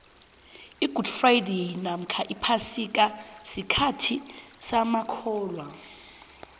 igudi fradayi nomkha iphasika sikhathi samakholwa